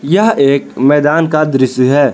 यह एक मैदान का दृश्य है।